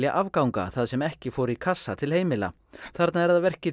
afganga það sem ekki fór í kassa til heimila þarna er að verki